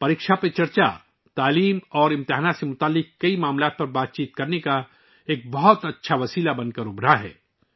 'پریکشا پر چرچا' تعلیم اور امتحانات سے متعلق مختلف مسائل پر تبادلہ خیال کرنے کے لیے ایک بہت اچھے ذریعہ کے طور پر ابھرا ہے